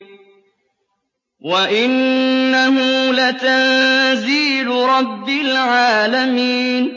وَإِنَّهُ لَتَنزِيلُ رَبِّ الْعَالَمِينَ